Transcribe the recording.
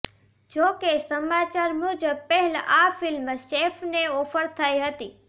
જોકે સમાચાર મુજબ પહેલા આ ફિલ્મ સૈફને ઓફર થઈ હતી